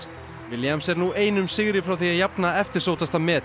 williams er nú einum sigri frá því að jafna eftirsóttasta met